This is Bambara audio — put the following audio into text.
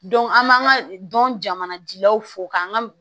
an b'an ka dɔn jamana dilaw fo k'an ga